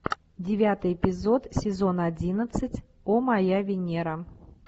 девятый эпизод сезон одиннадцать о моя венера